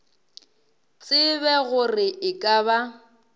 tsebe gore e ka ba